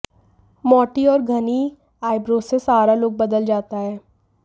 मोटी और घनी आईब्रोज से सारा लुक बदल जाता है